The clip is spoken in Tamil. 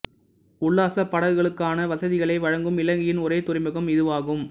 உல்லாச படகுகளுக்கான வசதிகளை வழங்கும் இலங்கையின் ஒரே துறைமுகம் இதுவாகும்